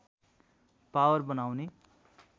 power बनाउने